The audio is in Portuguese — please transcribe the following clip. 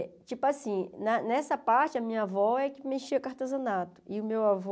É, tipo assim, na nessa parte a minha avó é que mexia com artesanato e o meu avô...